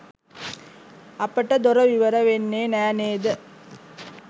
අපට දොර විවර වෙන්නේ නෑ නේද?